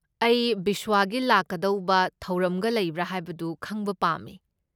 ꯑꯩ ꯕꯤꯁꯋꯥꯒꯤ ꯂꯥꯛꯀꯗꯧꯕ ꯊꯧꯔꯝꯒ ꯂꯩꯕ꯭ꯔꯥ ꯍꯥꯏꯕꯗꯨ ꯈꯪꯕ ꯄꯥꯝꯃꯦ꯫